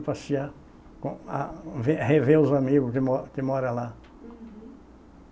Passear, com a ver rever os amigos que mo moram lá. Uhum.